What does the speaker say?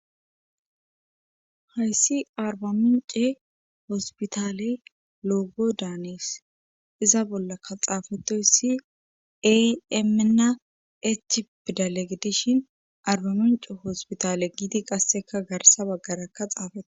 Hayssi arbamince hospitale loogo daanes iza bollakka xaafetoyssi aymena echipidalegidishin arbamincu hospitale gidi qasseka garsa baggarakka xaafate.